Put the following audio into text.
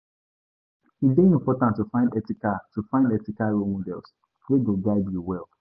E dey important to find ethical to find ethical role models wey go guide you well.